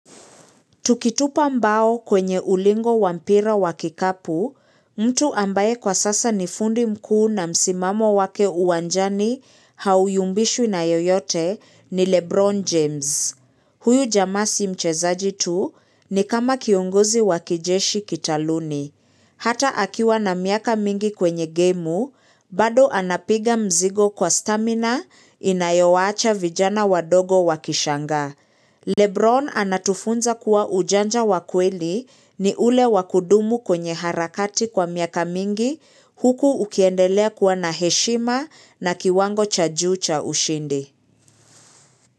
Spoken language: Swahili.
Tukitupa mbao kwenye ulingo wa mpira wa kikapu, mtu ambaye kwa sasa ni fundi mkuu na msimamo wake uwanjani hauyumbishwi na yoyote ni Lebron James. Huyu jamaa si mchezaji tu ni kama kiongozi wakijeshi kitaluni. Hata akiwa na miaka mingi kwenye gemu, bado anapiga mzigo kwa stamina inayowacha vijana wadogo wakishangaa. Lebron anatufunza kuwa ujanja wa kweli ni ule wakudumu kwenye harakati kwa miaka mingi huku ukiendelea kuwa na heshima na kiwango cha juu cha ushindi.